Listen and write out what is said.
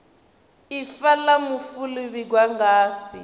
ifa la mufu li vhigwa ngafhi